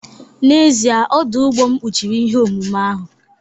N'ezie, ọdụ ụgbọ m kpuchiri ihe omume ahụ